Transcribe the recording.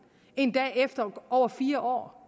endda efter over fire år